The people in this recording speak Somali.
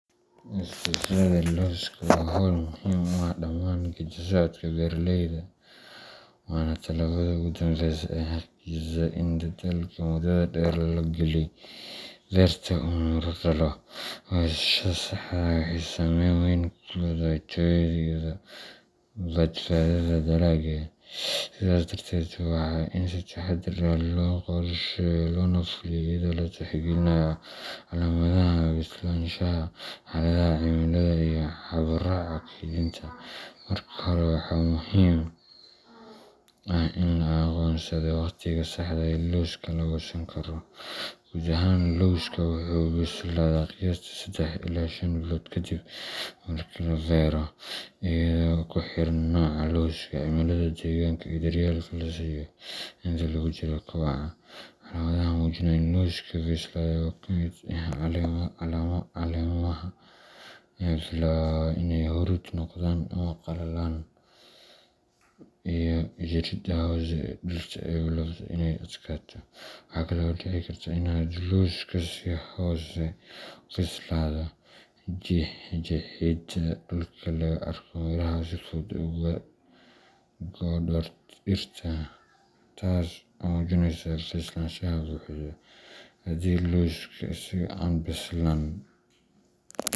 Goosashada lawska waa hawl muhiim u ah dhammaan geeddi socodka beeraleyda, waana tallaabada ugu dambeysa ee xaqiijisa in dadaalka muddada dheer la geliyey beerta uu miro dhalay. Goosashada saxda ah waxay saameyn weyn ku leedahay tayada iyo badhaadhaha dalagga, sidaas darteed waa in si taxaddar leh loo qorsheeyaa loona fuliyaa iyadoo la tixgelinayo calaamadaha bislaanshaha, xaaladaha cimilada, iyo habraaca kaydinta. Marka hore, waxaa muhiim ah in la aqoonsado waqtiga saxda ah ee lawska la goosan karo. Guud ahaan, lawska wuxuu bislaadaa qiyaastii sedex ilaa shan bilood kadib marka la beero, iyadoo ku xiran nooca lawska, cimilada deegaanka, iyo daryeelka la siiyo inta lagu jiro koboca. Calaamadaha muujinaya in lawska bislaaday waxaa ka mid ah caleemaha oo bilaaba inay huruud noqdaan ama qallalaan, iyo jirridda hoose ee dhirta oo bilaabta inay adkaato. Waxa kale oo dhici karta in hadduu lawska si hoose u bislaado, jeexidda dhulka laga arko miraha oo si fudud uga go’a dhirta, taas oo muujinaysa bislaansho buuxda. Haddii lawska la goosto isagoo aan bislaan.